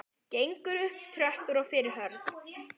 Gengur upp tröppur og fyrir horn.